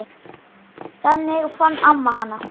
Þannig fann amma hana.